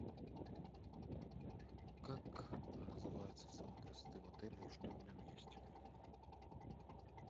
как называется салон красоты в отеле и что в нем есть